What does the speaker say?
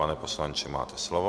Pane poslanče, máte slovo.